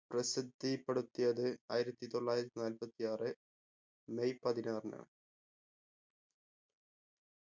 പ്രസിദ്ധി പെടുത്തിയത് ആയിരത്തി തൊള്ളായിരത്തി നാല്പത്തി ആറ് മെയ് പതിനാറിനാണ്